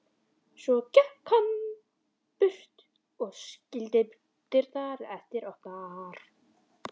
Svo gekk hann burt og skildi dyrnar eftir opnar.